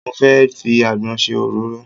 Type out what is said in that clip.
Mo fẹ́ fi àgbọn ṣe òróró.